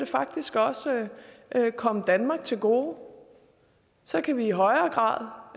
faktisk også komme danmark til gode så kan vi i højere grad